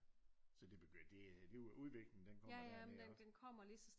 Så det begyndte det øh det er jo udviklingen den kommer dernede også